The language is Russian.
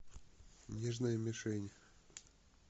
нежная мишень